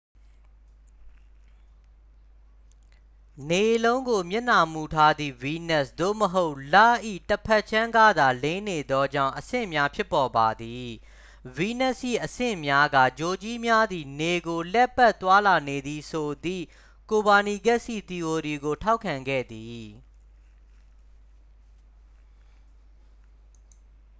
နေလုံးကို မျက်နှာမူထားသည့် ဗီးနပ်စ် သို့မဟုတ် လ၏ ၏ တစ်ဖက်ခြမ်းကသာ လင်းနေသောကြောင့် အဆင့်များ ဖြစ်ပေါ်ပါသည်။ ဗီးနပ်စ်၏ အဆင့်များက ဂြိုလ်ကြီးများသည် နေကို လှည့်ပတ် သွားလာနေသည်ဆိုသည့် ကိုပါနီကက်စ်၏ သီအိုရီကို ထောက်ခံခဲ့သည်။